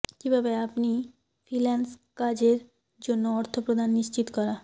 কিভাবে আপনি ফ্রিল্যান্স কাজের জন্য অর্থ প্রদান নিশ্চিত করা